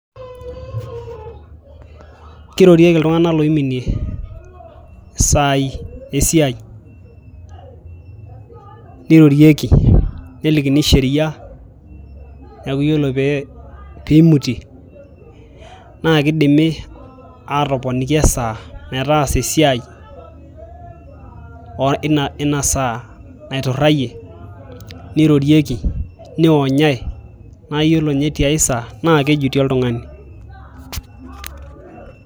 Kirorieki iltung'anak loiminie isaai esiai ,nirorieki nelikini sheria neeku yiolo peeimutie naakeidimi aatoponini esaa metaasa esiai ina saa naiturayie nirorieki neionyai naa iyiolo tiai saa naa kejuti oltung'ani.